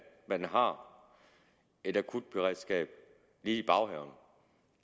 man har et akutberedskab lige i baghaven